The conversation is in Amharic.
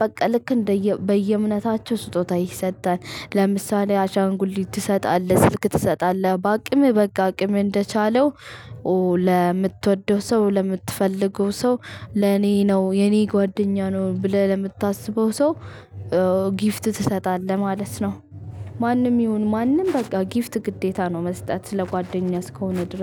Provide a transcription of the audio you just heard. በቃ ልክ እንደየ በየእምነታቸው ስጦታ ይሰጣል። ለምሳሌ አሻንጉሊት ትሰጣለህ፣ ስልክ ትሰጣለህ፣ በአቅምህ በቃ አቅም እንደቻለው ለምትወደው ሰው ለምትፈልገው ሰው ለኔ ነው የኔ ጓደኛ ነው ብለህ ለምታስበው ሰው ጊፍት ትሰጣለህ ማለት ነው። ማንም ይሁን ማንም በቃ ጊፍት ግዴታ ነው መስጠት ስለ ጓደኛ እስከሆነ